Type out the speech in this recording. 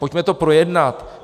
Pojďme to projednat.